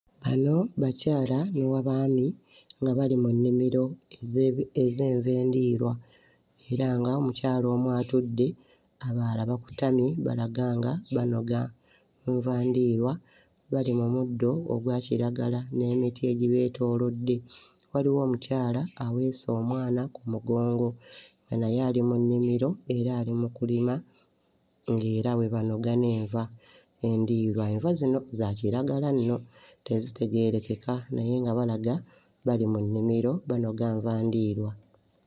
Bano bakyala n'abaami nga bali mu nnimiro ez'ebi... ez'enva endiirwa era ng'omukyala omu atudde, abalala bakutamye balaga nga banoga nva ndiirwa, bali mu muddo ogwa kiragala n'emiti egibeetoolodde. Waliwo omukyala aweese omwana ku mugongo nga naye ali mu nnimiro era ali mu kulima nga era bwe banoga n'enva endiirwa. Enva zino za kiragala nno, tezitegeerekeka naye nga balaga bali mu nnimiro banoga nva ndiirwa.